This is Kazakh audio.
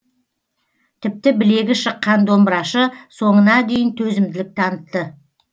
тіпті білегі шыққан домбырашы соңына дейін төзімділік танытты